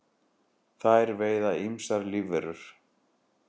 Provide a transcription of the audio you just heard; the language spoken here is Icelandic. þær veiða ýmsar lífverur